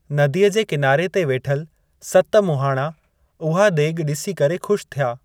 नदीअ जे किनारे ते वेठल सत मुहाणा उहा देगि॒ डि॒सी करे ख़ुशि थिया।